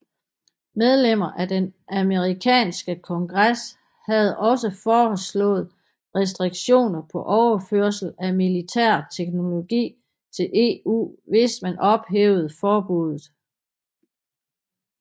Mellemmer af den amerikanske kongres havde også foreslået restriktioner på overførsel af militær teknologi til EU hvis man ophævede forbuddet